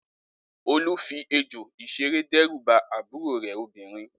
Olú fi ejò ìṣeré dẹ́rù bá àbúrò rẹ̀ obìnrin.